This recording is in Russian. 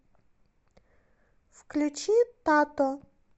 включи тато